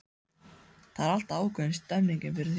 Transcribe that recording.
Það er alltaf ákveðin stemmning yfir því.